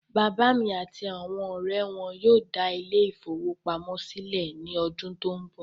Bàbá mí àti àwọn ọrẹ wọn yóò dá ile-ìfowópamó sílẹ̀ ní ọdún tó n bọ̀